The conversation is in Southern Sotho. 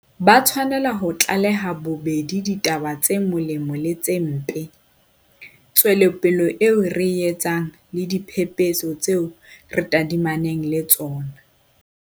Ba tshwanela ho tlaleha bobedi ditaba tse molemo le tse mpe, tswelopele eo re e etsang le diphephetso tseo re tadimaneng le tsona.